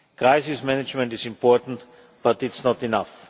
Crisis management is important, but it is not enough.